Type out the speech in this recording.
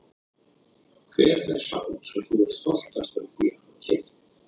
Hver er sá sem þú ert stoltastur af því að hafa keypt?